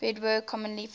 beadwork commonly features